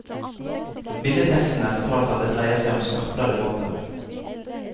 Billedtekstene fortalte at det dreide seg om skarpladde våpen.